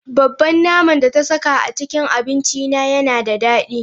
Babban naman da ta saka a cikin abincina yana da dadi.